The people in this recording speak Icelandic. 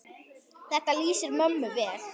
Þetta lýsir mömmu vel.